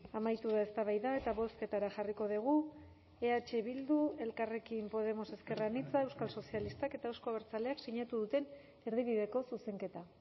amaitu da eztabaida eta bozketara jarriko dugu eh bildu elkarrekin podemos ezker anitza euskal sozialistak eta euzko abertzaleak sinatu duten erdibideko zuzenketa